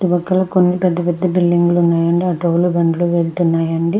ఇటు పక్కల కొన్ని పేద పేద బులిడింగ్ లు ఉన్నాయి అండి ఆటో లు బండ్లు వెళ్తున్నాయి అండి.